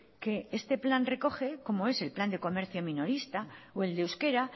que este plan recoge como es el plan de comercio minorista o el de euskera